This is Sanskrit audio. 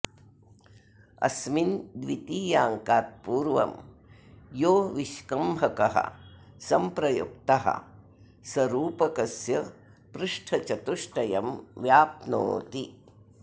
अस्मिन् द्वितीयाङ्कात् पूर्वं यो विष्कम्भकः सम्प्रयुक्तः स रूपकस्य पृष्ठचतुष्टयं व्याप्नोति